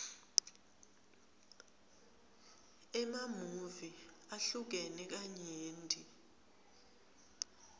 emamuvi ahlukene kanyenti